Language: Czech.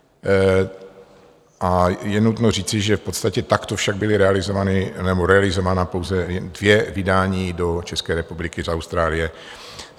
A je nutno říci, že v podstatě takto však byla realizována pouze dvě vydání do České republiky z Austrálie.